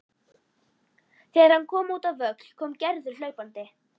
Þegar hann kom út á völl kom Gerður hlaupandi.